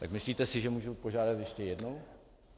Tak myslíte si, že můžu požádat ještě jednou?